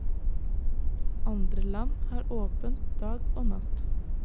Andre land har åpent dag og natt.